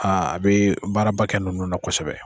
a bi baaraba kɛ ninnu na kosɛbɛ.